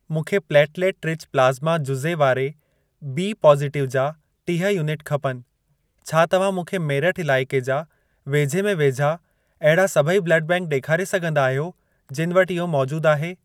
मूंखे platelet rich plasma जुज़े वारे बी पॉज़िटिव जा टीह यूनिट खपनि। छा तव्हां मूंखे मेरठ इलाइके जा वेझे में वेझा अहिड़ा सभई ब्लड बैंक ॾेखारे सघंदा आहियो, जिन वटि इहो मौजूद आहे?